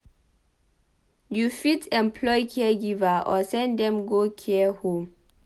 You fit employ caregiver or send dem go care home